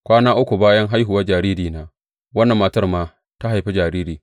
Kwana uku bayan haihuwar jaririna, wannan mata ma ta haifi jariri.